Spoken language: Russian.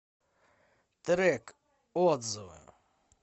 трек отзывы